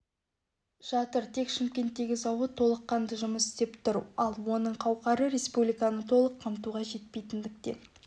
жатыр тек шымкенттегі зауыт толыққанды жұмыс істеп тұр ал оның қауқары республиканы толық қамтуға жетпейтіндіктен